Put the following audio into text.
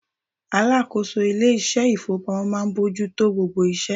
Alákòóso ilé iṣẹ́ ìfowópamọ́ máa ń bójú tó gbogbo iṣẹ́.